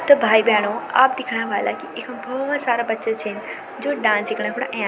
त भाई-भेणाे आप दिखणा ह्वला की इखम बहौत सारा बच्चा छिन जू डांस सिखणा खुन अयां।